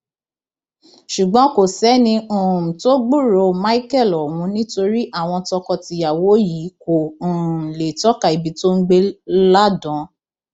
ṣùgbọn kò sẹni um tó gbúròó michel ọhún nítorí àwọn tọkọtìyàwó yìí kò um lè tọka ibi tó ń gbé láàdààn